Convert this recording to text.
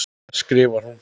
skrifar hún.